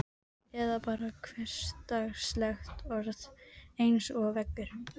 Eða bara hversdagslegt orð eins og veggur.